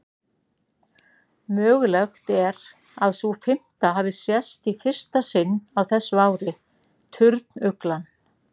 Mögulegt er að sú fimmta hafi sést í fyrsta sinn á þessu ári, turnuglan.